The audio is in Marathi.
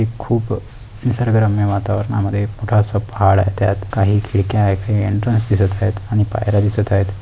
ते खूप निसर्गरम्य वातावरणामध्ये भाड आहे त्यात काही खिडक्या आहेत ते एंट्रैन्स दिसत आहे आणि पायऱ्या दिसत आहे.